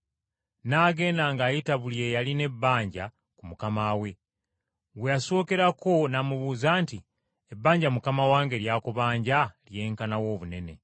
“N’agenda ng’ayita buli eyalina ebbanja ku mukama we. Gwe yasookerako n’amubuuza nti, ‘Ebbanja mukama wange ly’akubanja lyenkana wa obunene?’ ”